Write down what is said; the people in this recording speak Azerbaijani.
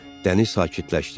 Dəniz sakitləşdi.